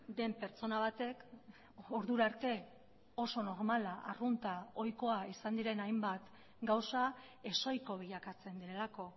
den pertsona batek ordura arte oso normala arrunta ohikoa izan diren hainbat gauza ez ohiko bilakatzen delako